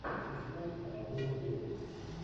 искать анатолий белый